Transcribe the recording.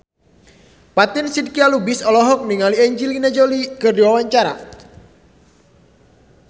Fatin Shidqia Lubis olohok ningali Angelina Jolie keur diwawancara